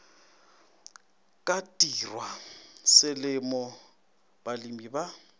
ka tirwa selemo balemi ba